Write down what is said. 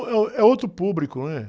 É, uh, é outro público, não é?